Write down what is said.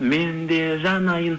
мен де жанайын